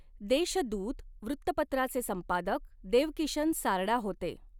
देशदूत वृत्तपत्राचे संपादक देवकिशन सारडा होते.